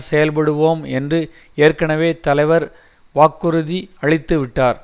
செயல்படுவோம் என்று ஏற்கனவே தலைவர் வாக்குறுதி அளித்துவிட்டார்